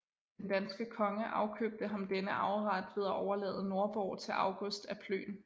Den danske konge afkøbte ham denne arveret ved at overlade Nordborg til August af Plön